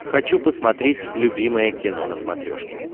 хочу посмотреть любимое кино на смотрешке